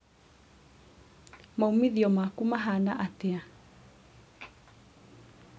maumithio maku mahana atĩa?